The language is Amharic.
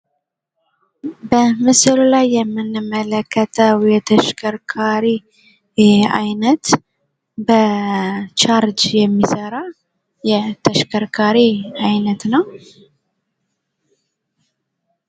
በምስሉ ላይ የምንመለከተው የተሽከርካሪ አይነት በቻርጅ የሚሰራ የተሽከርካሪ አይነት ነው።